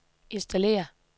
installere